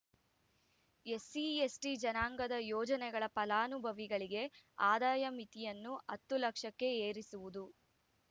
SC ST ಜನಾಂಗದ ಯೋಜನೆಗಳ ಫಲಾನುಭವಿಗಳಿಗೆ ಆದಾಯ ಮಿತಿಯನ್ನು ಹತ್ತು ಲಕ್ಷಕ್ಕೆ ಏರಿಸುವುದು